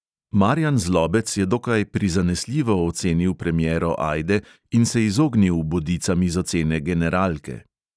Marjan zlobec je dokaj prizanesljivo ocenil premiero ajde in se je izognil bodicam iz ocene generalke.